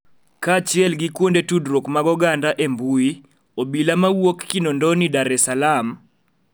Kaachiel gi kuonde tudruok mag oganda e mbui, obila mawuok Kinondoni Dar es Salaam,